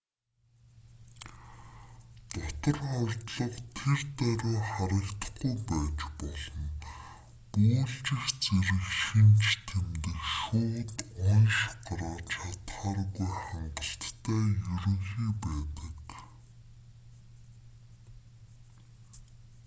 дотор хордлого тэр даруй харагдахгүй байж болно бөөлжих зэрэг шинж тэмдэг шууд онош гаргаж чадахааргүй хангалттай ерөнхий байдаг